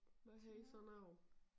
Hvad siger sådan noget